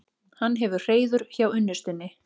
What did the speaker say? Hann hefur hreiður hjá unnustunni.